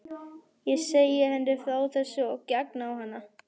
Ég segi henni frá þessu og geng á hana.